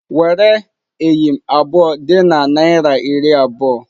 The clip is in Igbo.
Were eyịm abụọ dị na naira iri abụọ!